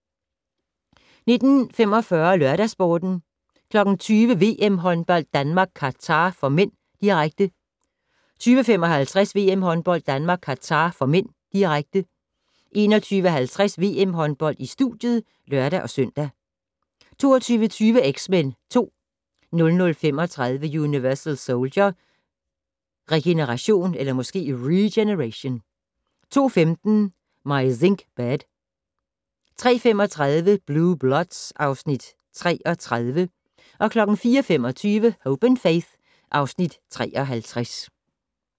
19:45: LørdagsSporten 20:00: VM-håndbold: Danmark-Qatar (m), direkte 20:55: VM-håndbold: Danmark-Qatar (m), direkte 21:50: VM-håndbold: Studiet (lør-søn) 22:20: X-Men 2 00:35: Universal Soldier: Regeneration 02:15: My Zinc Bed 03:35: Blue Bloods (Afs. 33) 04:25: Hope & Faith (Afs. 53)